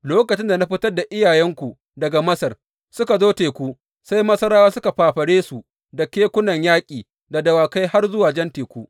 Lokacin da na fitar da iyayenku daga Masar, suka zo teku, sai Masarawa suka fafare su da kekunan yaƙi da dawakai har zuwa Jan Teku.